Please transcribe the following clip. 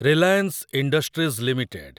Reliance Industries limited